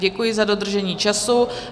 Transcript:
Děkuji za dodržení času.